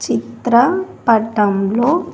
చిత్ర పటంలో.